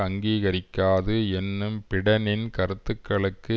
அங்கீகரிக்காது என்னும் பிடெனின் கருத்துக்களுக்கு